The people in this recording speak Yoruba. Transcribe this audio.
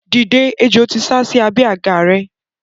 Dìde! Ejò ti sásí abẹ́ àga rẹ.